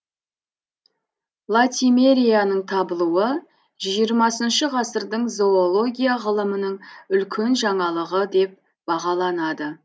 латимерияның табылуы жиырмасыншы ғасырдың зоология ғылымының үлкен жаңалығы деп бағаланады